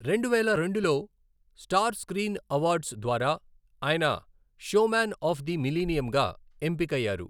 రెండువేల రెండులో star screen awards ద్వారా ఆయన 'షోమ్యాన్ ఆఫ్ ది మిలీనియం'గా ఎంపికయ్యారు.